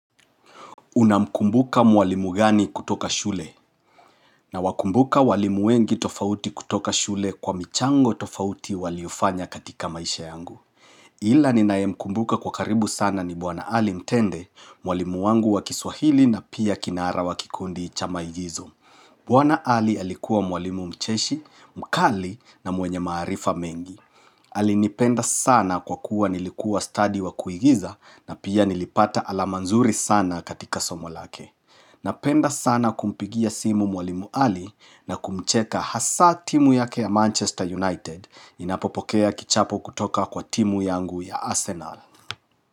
Unamkumbuka mwalimu gani kutoka shule? Nawakumbuka walimu wengi tofauti kutoka shule kwa michango tofauti waliyofanya katika maisha yangu. Ila ninayemkumbuka kwa karibu sana ni bwana ali mtende, mwalimu wangu wa kiswahili na pia kinara wa kikundi cha maigizo. Bwana Ali alikuwa mwalimu mcheshi, mkali na mwenye maarifa mengi. Alinipenda sana kwa kuwa nilikuwa stadi wa kuigiza na pia nilipata alama nzuri sana katika somo lake. Napenda sana kumpigia simu mwalimu Ali na kumcheka hasa timu yake ya Manchester United inapopokea kichapo kutoka kwa timu yangu ya Arsenal.